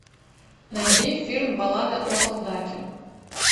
найди фильм баллада о солдате